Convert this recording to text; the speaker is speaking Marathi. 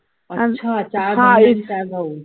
अच्छा अच्छा चार बहीण आणि चार भाऊ